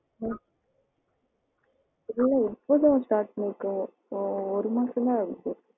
ஹம் இல்ல இப்போ தான் start பண்ணி இருக்கேன் இப்போ ஒரு மாசம் தான் ஆகுது.